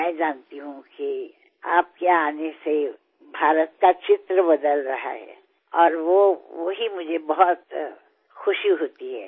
मैं जानती हूँ कि आपके आने से भारत का चित्र बदल रहा है और वो वही मुझे बहुत खुशी होती है